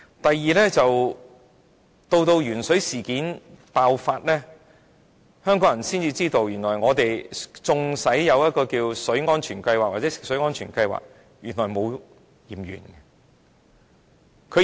第二，在鉛水事件爆發後，香港人才知道，當局有食水安全計劃，但並沒有進行檢驗。